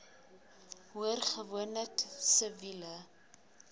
hoor gewoonlik siviele